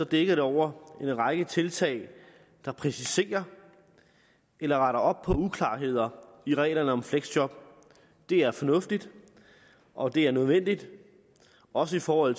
dækker over en række tiltag der præciserer eller retter op på uklarheder i reglerne om fleksjob det er fornuftigt og det er nødvendigt også for at